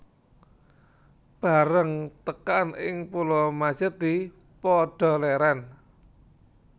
Bareng tekan ing Pulo Majethi padha lèrèn